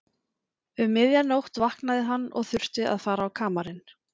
Um miðja nótt vaknaði hann og þurfti að fara á kamarinn.